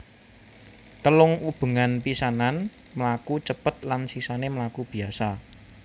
Telung ubengan pisanan mlaku cepet lan sisané mlaku biasa